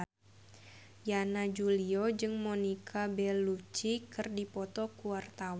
Yana Julio jeung Monica Belluci keur dipoto ku wartawan